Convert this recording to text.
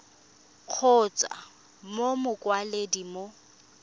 kgotsa mo go mokwaledi mo